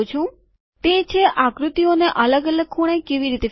તે છે આકૃતિઓને અલગ અલગ ખૂણે કેવી રીતે ફેરવવી